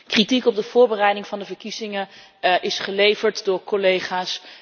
Kritiek op de voorbereiding van de verkiezingen is geleverd door collega's.